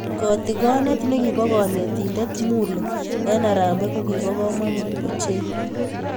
Katikonee ne bo konetinte Mulee eng Harambee ko kibo komonut ochei.